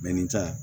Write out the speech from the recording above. Mɛ ni tɛ wa